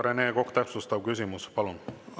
Rene Kokk, täpsustav küsimus, palun!